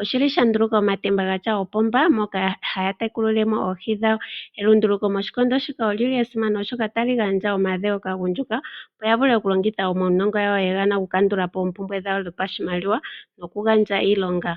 Oshi li sha nduluka omatemba ga tya oopomba moka haya tekulile mo oohi dhawo. Elunduluko moshikondo shika oli li lya simana, oshoka otali gandja omadhewo kaagundjuka, opo ya vule okulongitha omaunongo gawo ye ga na okukandula po oompumbwe dhawo dhopashimaliwa nokugandja iilonga.